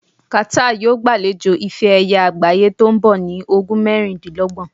Qatar yóò gbalejo ife ẹ̀yẹ àgbáyé to nbọ ní ogun mẹrindinlọgbọn